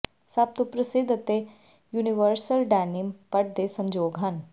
ਸਭ ਤੋਂ ਪ੍ਰਸਿੱਧ ਅਤੇ ਯੂਨੀਵਰਸਲ ਡੈਨੀਮ ਪਟ ਦੇ ਸੰਜੋਗ ਹਨ